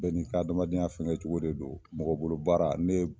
Bɛ ni ka adamadenya fɛngɛ togo de don mɔgɔ bolo baara ne